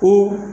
Ni